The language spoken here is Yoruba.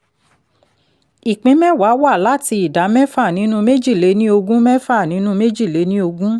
ìpín mẹ́ẹ̀wá wá láti ìdá mẹ́fà nínú méjìlé ní ogún mẹ́fà nínú méjì lé ní ogún